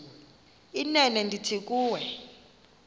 inene ndithi kuwe